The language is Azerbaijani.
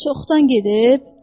Çoxdan gedib?